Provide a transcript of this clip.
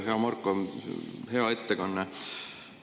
Hea Marko, hea ettekanne!